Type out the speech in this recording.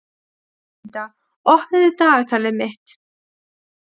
Lúsinda, opnaðu dagatalið mitt.